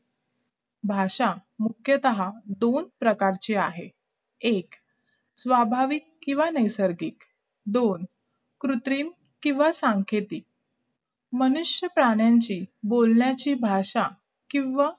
भाषा मुख्याता दोन प्रकारची आहे एक स्वाभाविक किंवा दोन नैसर्गिक कृत्रिम किंवा सांकेतिक मनुष्य प्राण्यांची बोलण्याची भाषा किंवा